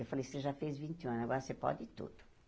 Eu falei, você já fez vinte e um anos, agora você pode tudo.